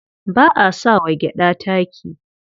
Ba a sa wa gyaɗa taki.